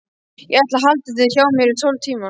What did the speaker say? Ég ætla að halda þér hjá mér í tólf tíma.